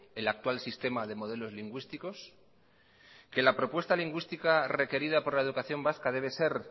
el actual sistema de modelos lingüísticos que la propuesta lingüística requerida por la educación vasca debe ser